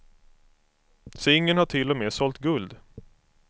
Singeln har till och med sålt guld.